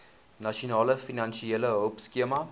nasionale finansiële hulpskema